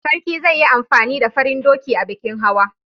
Sarki zai yi amfani da farin doki a bikin hawa.